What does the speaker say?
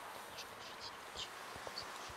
ты можешь включить сериальчик жизнь после